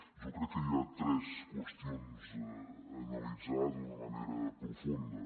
jo crec que hi ha tres qüestions a analitzar d’una manera profunda